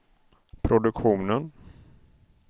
produktionen